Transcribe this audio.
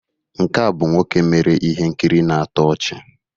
Nke a bụ nwoke mere ihe nkiri na-atọ ọchị